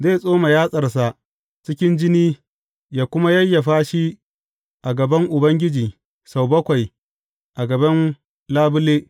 Zai tsoma yatsarsa cikin jini yă kuma yayyafa shi a gaban Ubangiji sau bakwai a gaban labule.